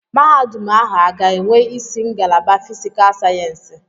Mahadum ahụ a ga-enwe isi ngalaba fiscal sayensị?